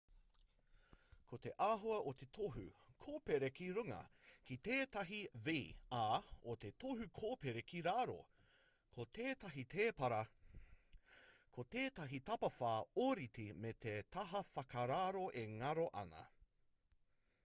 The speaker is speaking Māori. ko te āhua o te tohu kōpere ki runga ko tētahi v ā o te tohu kōpere ki raro ko tētahi tēpara ko tētahi tapawhā ōrite me te taha whakararo e ngaro ana